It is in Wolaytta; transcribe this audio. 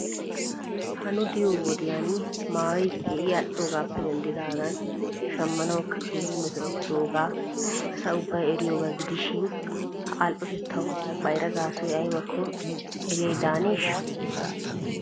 Ha nu de'iyo wodiyan maayoy keehi al''oogappe denddidagan shammanawkka keehi metoottidooga asa ubbay eriyooba gidishin ha all'ottettaw bayrra gaasoy aybakko eriyay daaneeshaa?